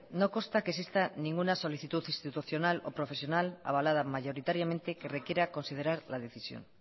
no consta que exista ninguna solicitud institucional o profesional avalada mayoritariamente que requiera considerar la decisión